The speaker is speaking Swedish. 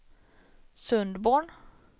Sundborn